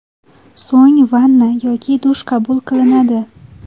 So‘ng vanna yoki dush qabul qilinadi.